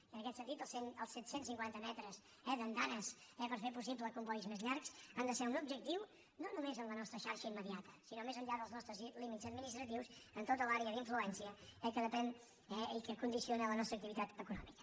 i en aquest sentit els set cents i cinquanta metres d’andanes per fer possible combois més llargs han de ser un objectiu no només en la nostra xarxa immediata sinó més enllà dels nostres límits administratius en tota l’àrea d’influència de què depèn i que condiciona la nostra activitat econòmica